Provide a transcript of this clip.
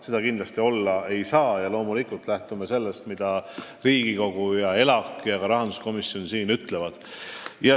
Seda kindlasti olla ei tohi ja loomulikult me lähtume sellest, mida Riigikogu, sh ELAK ja rahanduskomisjon ütlevad.